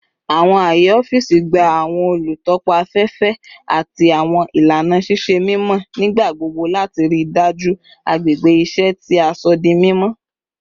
Awọn aaye ọfiisi gba awọn olutọpa afẹfẹ ati awọn ilana ṣiṣe mimọ nigbagbogbo lati rii daju agbegbe iṣẹ ti a sọ di mimọ